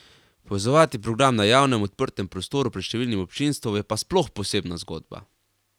Povezovati program na javnem, odprtem prostoru pred številnim občinstvom je pa sploh posebna zgodba.